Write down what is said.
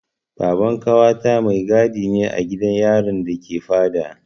Baban ƙawata mai gadi ne a gidan yarin da ke Fada.